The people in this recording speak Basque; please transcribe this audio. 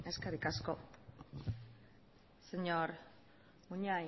eskerrik asko señor munain